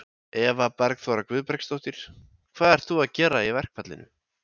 Eva Bergþóra Guðbergsdóttir: Hvað ert þú að gera í verkfallinu?